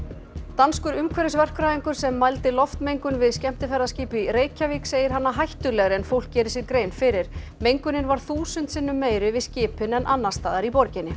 danskur umhverfisverkfræðingur sem mældi loftmengun við skemmtiferðaskip í Reykjavík segir hana hættulegri en fólk geri sér grein fyrir mengunin var þúsund sinnum meiri við skipin en annars staðar í borginni